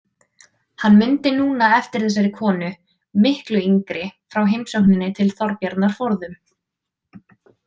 Hann mundi núna eftir þessari konu, miklu yngri, frá heimsókninni til Þorbjarnar forðum.